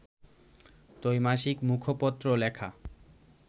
ত্রৈমাসিক মুখপত্র লেখা